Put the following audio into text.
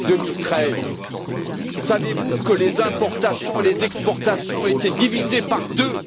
2013. Savez vous que les importations et les exportations ont été divisées par deux?